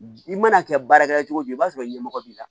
I mana kɛ baara kɛ cogo o cogo i b'a sɔrɔ ɲɛmɔgɔ b'i la